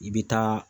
I bɛ taa